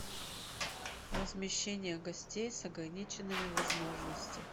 размещение гостей с ограниченными возможностями